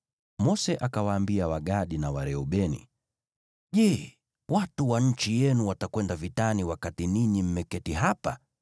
Mose akawaambia Wagadi na Wareubeni, “Je, watu wa nchi yenu watakwenda vitani wakati ninyi mmeketi hapa?